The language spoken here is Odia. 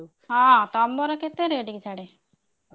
ହଁ ତମର କେତେ rate କି ସାଡେ?